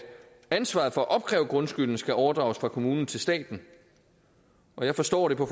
ansvaret for at opkræve grundskylden skal overdrages fra kommunen til staten jeg forstår det på